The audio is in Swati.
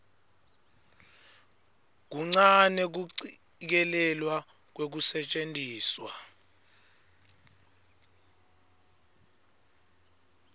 kuncane kucikelelwa kwekusetjentiswa